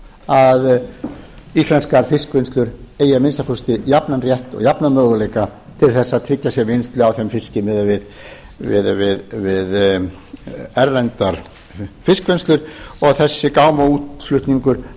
að íslenskar fiskvinnslur eigi að minnsta kosti jafnan rétt og jafna möguleika til að tryggja sér vinnslu á þeim fiski miðað við erlendar fiskvinnslur og þessi gámaútflutningur